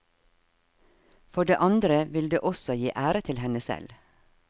For det andre vil det også gi ære til henne selv.